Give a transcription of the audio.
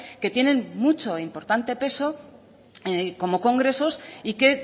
que tienen mucho e importante peso como congresos y que